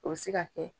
O bɛ se ka kɛ